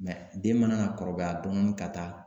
den mana na kɔrɔbaya dɔɔnin ka taa